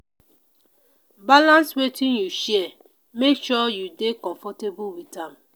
balance wetin you share; make sure you dey comfortable with am.